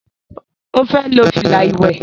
ọ fè ló fila iwẹ